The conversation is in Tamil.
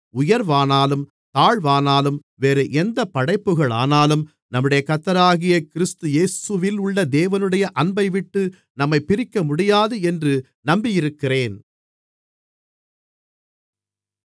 உயர்வானாலும் தாழ்வானாலும் வேறெந்தப் படைப்புகளானாலும் நம்முடைய கர்த்தராகிய கிறிஸ்து இயேசுவிலுள்ள தேவனுடைய அன்பைவிட்டு நம்மைப் பிரிக்கமுடியாது என்று நம்பியிருக்கிறேன்